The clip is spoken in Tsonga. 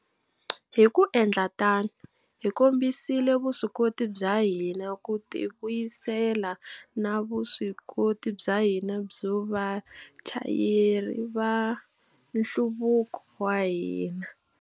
Hi ku endla tano, hi kombisile vuswikoti bya hina ku tivuyisela na vuswikoti bya hina byo va vachayeri va nhluvuko wa hina.